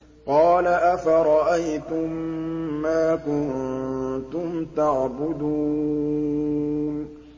قَالَ أَفَرَأَيْتُم مَّا كُنتُمْ تَعْبُدُونَ